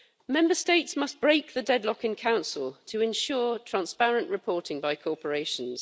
Member States must break the deadlock in Council to ensure transparent reporting by corporations.